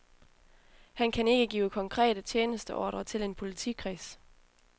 Han kan ikke give konkrete tjenesteordrer til en politikreds.